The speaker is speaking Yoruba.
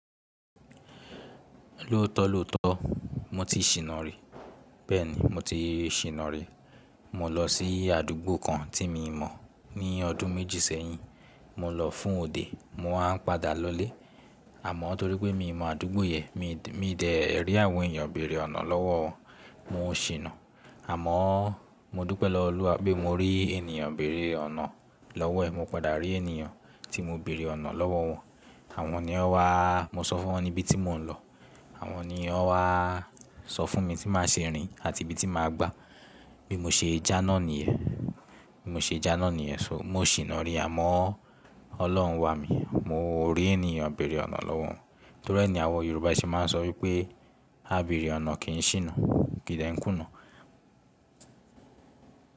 Lótọ́lọ́tọ́ mo ti ṣìnà rí. Bẹ́ẹ̀ ni, mo ti ṣìnà rí. Mo lọ sí àdúgbò kan tí mi mọ̀ ní ọdún méjì sẹ́yìn. Mo lọ fún òde, mo wá ń padà lọlé. Àmọ́ torí pé mi mọ̀ àdúgbò yẹn, mi dẹ̀ rí àwọn èèyàn bèrè ọ̀nà lọ́wọ́ wọn. Mo ṣìnà. Àmọ́ mo dúpẹ́ lọ́wọ́ Olúwa pé mo rí ènìyàn bèrè ọ̀nà lọ́wọ́ ẹ̀. Mo padà rí ènìyàn tí mo bèrè ọ̀nà lọ́wọ́ wọn. Àwọn ni o wá, mo sọ fún wọn níbi tí mò ń lọ. Àwọn ni o wá sọ fún mi tí màá ṣe rìn àti ibi tí màá gbà. Bí mo ṣe jánà nìyẹn. Bí mo ṣe jánà nìyẹn. So mo ṣìnà rí. Àmọ́ Ọlọ́run wà mí. Mo rí ènìyàn bèrè ọ̀nà lọ́wọ́ wọn. Torí ẹni àwọn Yorùbá sì máa ń sọ wípé “Á bèrè ọ̀nà kì í ṣìnà, kì í dẹ́ń kùnà.”